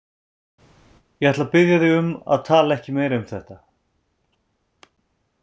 Ég ætla að biðja þig um að tala ekki meira um þetta.